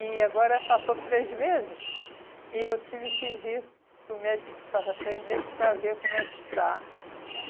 E agora passou três meses, e eu tive que vir para o médico, tive que passar três meses para ver como é que está.